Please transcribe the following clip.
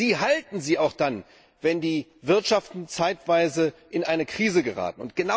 Sie halten sie auch dann, wenn die Wirtschaften zeitweise in eine Krise geraten.